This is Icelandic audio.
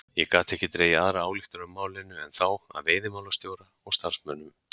Ég gat ekki dregið aðra ályktun af málinu en þá að veiðimálastjóra og starfsmönnum